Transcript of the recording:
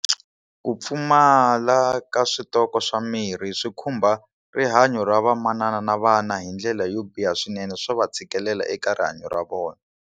Ku pfumala ka switoko swa mirhi swi khumba rihanyo ra vamanana na vana hi ndlela yo biha swinene swa va tshikelela eka rihanyo ra vona.